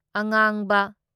ꯑꯉꯥꯡꯕ